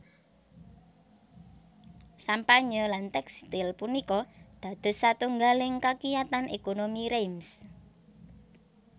Sampanye lan tèkstil punika dados satunggaling kakiyatan ékonomi Reims